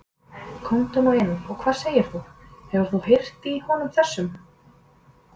Komdu nú inn og hvað segir þú, hefur þú heyrt í honum þessum?